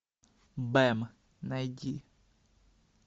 бэм найди